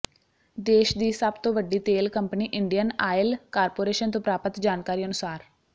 ਦੇਸ਼ ਦੀ ਸਭ ਤੋਂ ਵੱਡੀ ਤੇਲ ਕੰਪਨੀ ਇੰਡੀਅਨ ਆਇਲ ਕਾਰਪੋਰੇਸ਼ਨ ਤੋਂ ਪ੍ਰਾਪਤ ਜਾਣਕਾਰੀ ਅਨੁਸਾਰ